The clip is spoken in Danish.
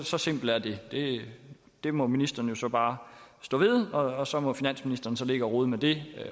så simpelt er det det må ministeren så bare stå ved og så må finansministeren så ligge og rode med det